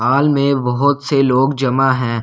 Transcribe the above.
हाल में बहुत से लोग जमा हैं।